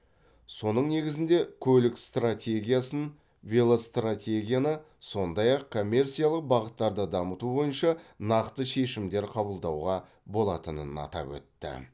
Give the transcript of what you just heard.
соның негізінде көлік стратегиясын велостратегияны сондай ақ коммерциялық бағыттарды дамыту бойынша нақты шешімдер қабылдауға болатынын атап өтті